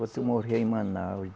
Você morreu em Manaus.